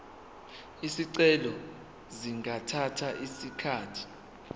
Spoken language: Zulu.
izicelo zingathatha isikhathi